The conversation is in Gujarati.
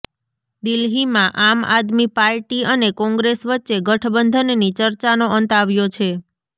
દિલ્હીમાં આમ આદમી પાર્ટી અને કોંગ્રેસ વચ્ચે ગઠબંધનની ચર્ચાનો અંત આવ્યો છે